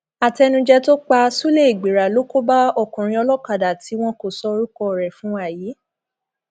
àtẹnuje tó pa ṣúlẹ ìgbìrà ló kó bá ọkùnrin olókàdá tí wọn kò sọ orúkọ rẹ fún wa yìí